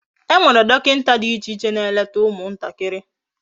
Enwere dokinta di iche iche na-eleta umu ntakiri.